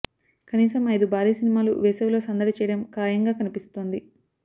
కనీసం ఐదు భారీ సినిమాలు వేసవిలో సందడి చేయడం ఖాయంగా కనిపిస్తోంది